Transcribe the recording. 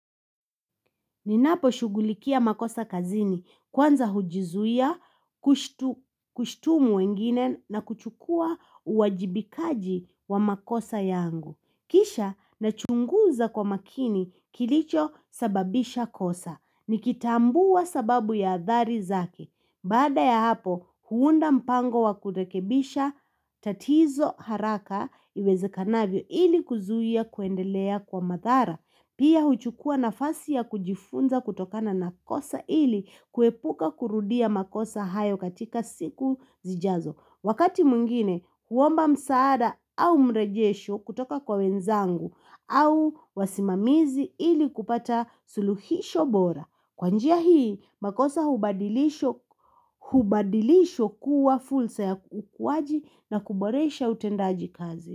Ninapo shughulikia makosa kazini kwanza hujizuia, kushtumu wengine na kuchukua uwajibikaji wa makosa yangu. Kisha na chunguza kwa makini kilicho sababisha kosa. Nikitambua sababu ya athari zake. Baada ya hapo huunda mpango wa kurekebisha tatizo haraka iwezekanavyo ili kuzuia kuendelea kwa madhara. Pia huchukua nafasi ya kujifunza kutokana na kosa ili kuepuka kurudia makosa hayo katika siku zijazo. Wakati mwngine, huomba msaada au mrejesho kutoka kwa wenzangu au wasimamizi ili kupata suluhisho bora. Kwa njia hii, makosa hubadilishwa kuwa fursa ya ukuwaji na kuboresha utendaji kazi.